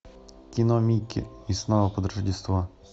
кино микки и снова под рождество